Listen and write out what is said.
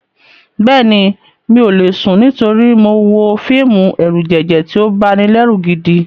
Bẹ́ẹ̀ni, mi ò lè sùn nítorí mo wo fíìmù ẹ̀rùjẹ̀jẹ̀ tí ó banilẹ́rù gidi.